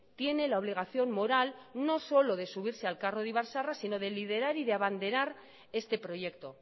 tiene la obligación moral no solo de subirse al carro de ibar zaharra sino de liderar y abanderar este proyecto